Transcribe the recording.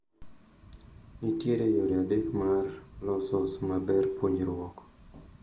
Ne nitiere yore adek mar losos maber puonjruok